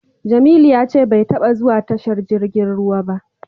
Jamilu ya ce bai taba zuwa tashar jirgin ruwa ba.